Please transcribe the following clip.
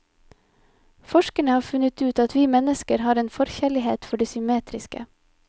Forskerne har funnet ut at vi mennesker har en forkjærlighet for det symmetriske.